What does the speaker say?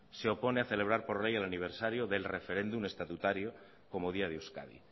se opone a celebrar por ley el aniversario del referéndum estatutario como día de euskadi